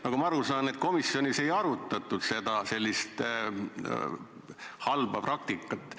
Nagu ma aru saan, komisjonis ei arutatud sellist halba praktikat.